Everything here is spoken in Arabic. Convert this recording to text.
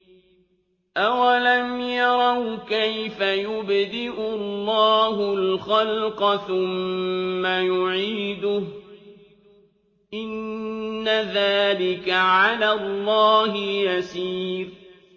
أَوَلَمْ يَرَوْا كَيْفَ يُبْدِئُ اللَّهُ الْخَلْقَ ثُمَّ يُعِيدُهُ ۚ إِنَّ ذَٰلِكَ عَلَى اللَّهِ يَسِيرٌ